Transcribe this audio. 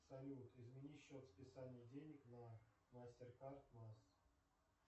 салют измени счет списания денег на мастеркард масс